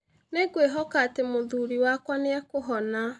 Nĩ ngwĩhoka atĩ mũthuri wakwa nĩ ekũhona